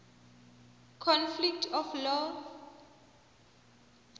conflict of laws